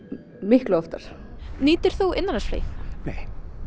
miklu oftar nýtir þú innanlandsflugið nei